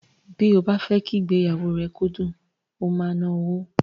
Bí ó bá fẹ́ kí ìgbéyàwó rẹ kó dùn, o máa ná owó.